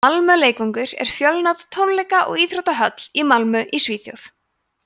malmö leikvangur er fjölnota tónleika og íþróttahöll í malmö í svíþjóð